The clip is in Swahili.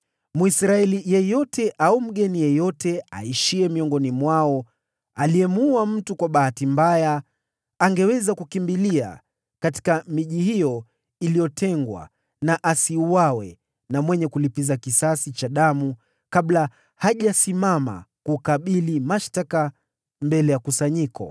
Mwisraeli yeyote au mgeni yeyote aishiye miongoni mwao aliyemuua mtu kwa bahati mbaya, angeweza kukimbilia katika miji mikubwa hiyo iliyotengwa na asiuawe na mlipiza kisasi wa damu kabla hajasimama kukabili mashtaka mbele ya kusanyiko.